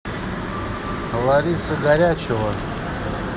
лариса горячева